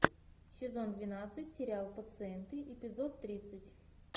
сезон двенадцать сериал пациенты эпизод тридцать